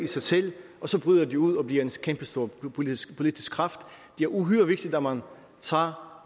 sig selv og så bryder de ud og bliver en kæmpestor politisk politisk kraft det er uhyre vigtigt at man tager